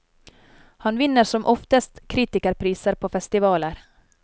Han vinner som oftest kritikerpriser på festivaler.